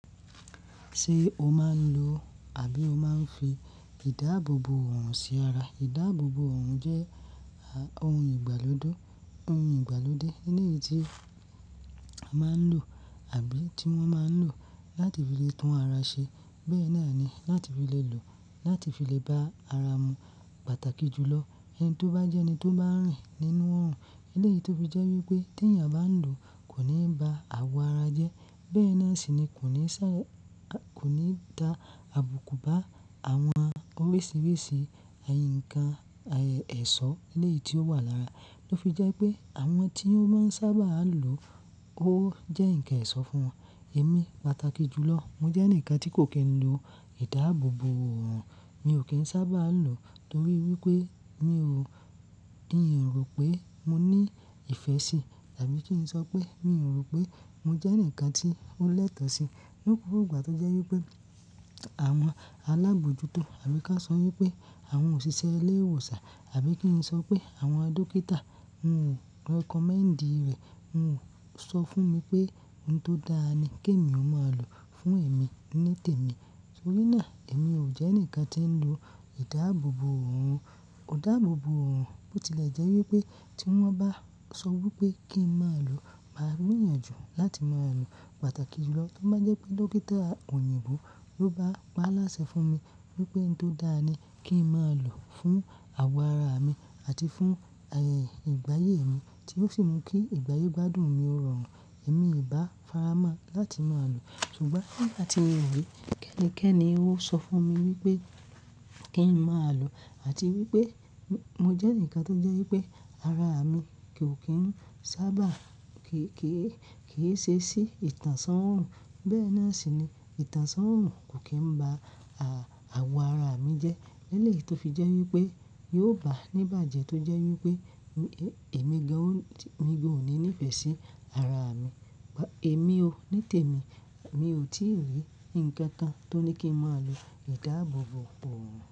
Ṣé o máa ń lo àbí o máa ń fi ìdáàbòbò òòrùn sí ara? Ìdáàbòbò òòrùn jẹ́ ohun ìgbàlódé, ohun ìgbàlódé léyìí tí a máa ń lò àbí tí wọ́n máa ń lò láti fi lè tún ara ṣe. Bẹ́ẹ̀ náà ni láti fi lè lò láti fi lè bá ara mu pàtàkì jùlọ ẹni tó bá jẹ́ ẹni tó bá rìn nínú òòrùn. Léyìí tó fi jẹ́ wípé tí ènìyàn bá ń lò kò ní ba àwọ̀ ara jẹ́. Bẹ́ẹ̀ náà sì ni kò ní si, kò ní dá àbùkù bá àwọn oríṣiríṣi ǹkan ẹ̀ṣọ́ léyìí tí ó wà lára. lÓ fi jẹ́ pé àwọn tí ó máa ń sábà lò ó jẹ́ ǹkan ẹ̀ṣọ́ fún ẹ̀mí pàtàkì jùlọ. Mo jẹ́ ẹnìkan tí kò kí n lo ìdáàbòbò òòrùn. Mi ò kí ń sábà lò torí wípé mi ò, mi ò rò pé mo ní ìfẹ́ sí àbí kí n sọ pé mi ò rò pé mo jẹ́ ǹkan tí ó lẹ́tọ̀ọ́ sí. Ní gbogbo ìgbà tó jẹ́ wípé àwọn alábòójútó àbí ká sọ wípé àwọn òṣìṣẹ́ ilé ìwòsàn àbí kí n sọ pé àwọn dókítà o recommend rẹ̀. Wọn ò sọ fún mi pé ohun tó dáa ni kí èmi ó máa lò fún ẹ̀mí nítèmi. Torí náà èmi ò jẹ́ ẹnìkan tí ń lo ìdáàbòbò òòrùn. Ìdáàbòbò òòrùn bó tilẹ̀ jẹ́ wípé tí wọ́n bá sọ wípé kí n máa lò, màá gbìyànjú láti máa lò. Pàtàkì jùlọ ló máa jẹ́ pé dókítà òyìnbó ló bá pa á láṣẹ fún mi wípé ohun tó dáa ni kí n máa lò fún àwọ̀ ara mi àti fún ìgbáyé mi tí ó sì mú kí ìgbáyé gbádùn mi rọrùn. Ẹ̀mí ìbá faramọ́ láti máa lò. Ṣùgbọ́n bí àti èwì kẹ́ni-kẹ́ni ó sọ fún mi wípé kí n máa lò àti wípé mo jẹ́ ǹkan tó jẹ́ wípé ara mi kò kí n sábà kì í, kì í ṣe sí ìtànṣán òòrùn. Bẹ́ẹ̀ náà sì ni ìtànṣán òòrùn kò kí ń ba à, àwọ̀ ara mi jẹ́. Léyìí tó fi jẹ́ wípé yóò bá ní ìbàjẹ́ tó jẹ́ wípé èmi gan, mi ò ní ní ìfẹ̀ sí ara mi. Ẹ̀mí o nítèmi mi ò tí rí ǹkan kan tó ní kí n máa lo ìdáàbòbò òòrùn.